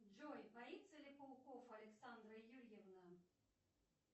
джой боится ли пауков александра юрьевна